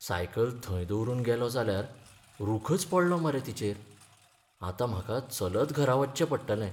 Cycle थंय दवरून गेलों जाल्यार रूखच पडलो मरे तिचेर, आतां म्हाका चलत घरा वच्चें पडटलें.